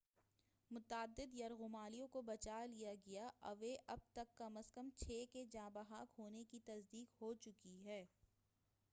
متعدد یرغمالیوں کو بچالیا گیا ہے اوع اب تک کم ازکم چھ کے جاں بحق ہونے کی تصدیق ہوچُکی ہے